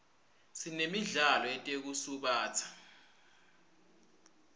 sinemidlalo yetekusubatsa